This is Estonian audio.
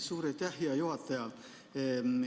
Suur aitäh, hea juhataja!